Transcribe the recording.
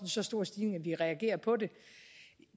så stor stigning at vi reagerer på det